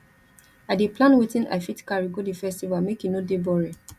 i dey plan wetin i fit carry go di festival make e no dey boring